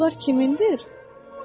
Ulduzlar kimindir?